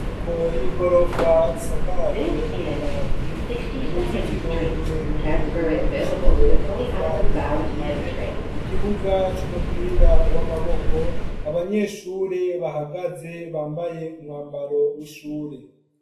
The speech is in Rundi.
Inyubako y'igorofa ishakajwe amabati uruzitiro rurerure gubakishijwe amatafari ahiye ikibuga c'umupira w'amaboko abanyeshure bahagaze bambaye umwambaro w'ishure.